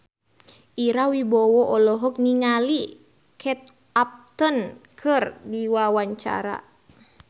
Ira Wibowo olohok ningali Kate Upton keur diwawancara